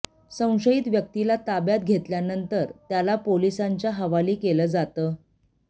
संशयित व्यक्तिला ताब्यात घेतल्यानंतर त्याला पोलिसांच्या हवाली केलं जातं